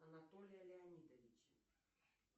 анатолия леонидовича